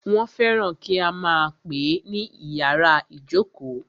Wọ́n fẹ́ràn kí a máà pè é ní ìyàrá ìjókó.